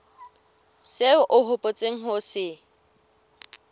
seo o hopotseng ho se